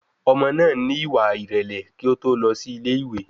Ọmọ náà ní ìwà ìrẹ̀lẹ̀ kí ó tó lọ sí ilé ìwé